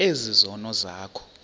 ezi zono zakho